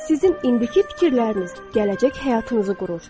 Sizin indiki fikirləriniz gələcək həyatınızı qurur.